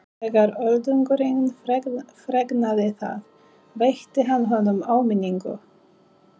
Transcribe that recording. Þegar Öldungurinn fregnaði það veitti hann honum áminningu.